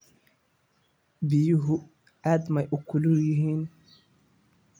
Biyuhu aad ma u kulul yihiin?